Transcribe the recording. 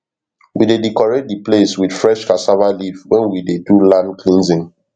we dey decorate di place with fresh cassava leaf wen we dey do land cleansing